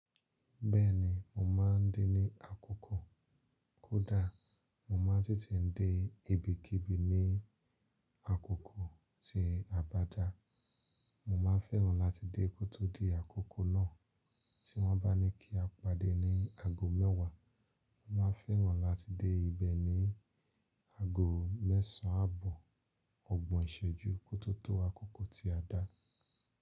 Bẹ́ẹ̀ni, mo máa ń dé ní àkókò. Koda, mo máa n te te n dé ibikíbi ní àkókò tí a bá dá. Mo máa n fẹ́ràn láti dé kótódì àkókò náà. Tí wọ́n bá ní kí a pàdé ní ago mẹ́wàá, mo máa fẹ́ràn láti dé ibẹ̀ ní ago mẹ́sàn án àbọ̀ ọgbọ̀n ìṣẹ́jú kó tó tó àkókò tí a dá.